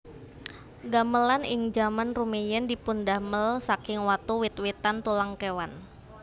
Gamelan ing jaman rumiyin dipundamel saking watu wit witan tulang kewan